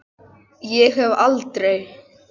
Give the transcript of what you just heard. Ég hef aldrei.